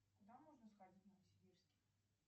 куда можно сходить в новосибирске